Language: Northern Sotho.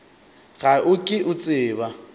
ga o ke o tseba